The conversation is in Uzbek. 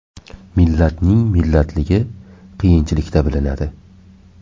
Millatning millatligi qiyinchilikda bilinadi.